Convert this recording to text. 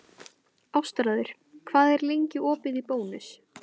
Ástráður, hvað er lengi opið í Bónus?